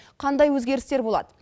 қандай өзгерістер болады